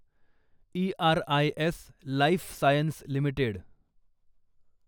Eris life sciences limited